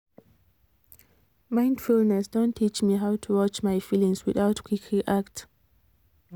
mindfulness don teach me how to watch my feelings without quick react